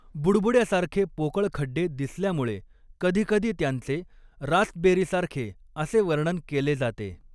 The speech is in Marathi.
बुडबुड्यासारखे पोकळ खड्डे दिसल्यामुळे कधीकधी त्यांचे 'रास्पबेरीसारखे' असे वर्णन केले जाते.